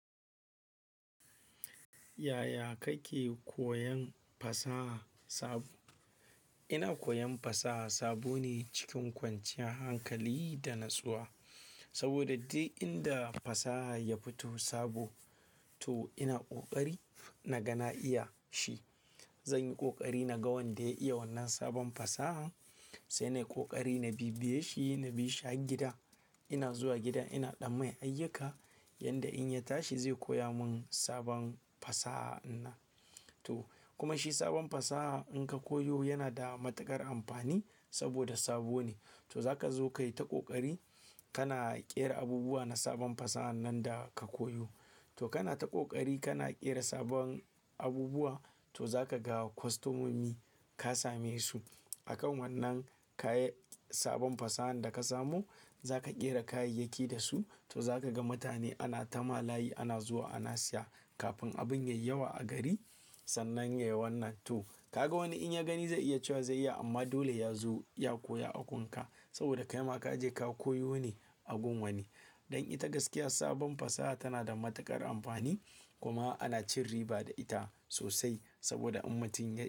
Yaya kake koyan fasaha sabo? Ina koyan fasaha sabo ne cikin kwanciyar hankali da natsuwa. Saboda duk inda fasaha ya fito sabo to ina ƙoƙari na ga na iya shi. Zanyi kokari naga wanda ya iya wannan sabon fasaha, sai ni ƙoƙari na bibiye shi, na bishi gida. Ina zuwa gida ina ɗan mai ayyuka yanda in ya tashi zai koya mun sabon fasaha in na. To kuma shi sabon fasaha in ka koyo yana da matuƙar amfani saboda sabo ne. To zaka zo kai ta ƙoƙari kana ƙera abubuwa na sabon fasaha nan da ka koyo. To kana ta ƙoƙari kana ƙera sabon abubuwa to zaka ga kwastomomi ka same su. A kan wannan kayan sabon fasahan da ka samo zaka ƙera kayayyaki da su to zaka ga mutane ana ta ma layi ana zuwa ana siya. Kafin abun ya yi yawa a gari sannan yayi wannan. To ka ga wani in ya gani zai iya cewa zai iya amma dole yazo ya koya agunka saboda kaima kaje ka koyo ne agun wani. Don ita gaskiya sabon fasaha tana da matuƙar amfani kuma ana cin riba da ita sosai saboda in mutum ya yi.